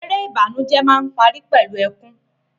Eré ìbànújẹ máa n pari pẹlu ẹkùn.